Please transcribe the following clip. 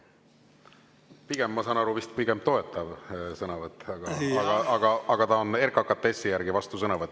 Pigem, ma saan aru, vist toetav sõnavõtt, aga RKKTS-i järgi on see vastusõnavõtt.